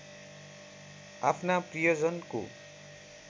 आफ्ना प्रियजनको